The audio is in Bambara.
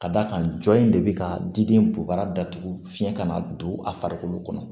Ka d'a kan jɔn in de bɛ ka di den bo bara datugu fiɲɛ ka na don a farikolo kɔnɔ